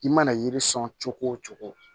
I mana yiri sɔn cogo o cogo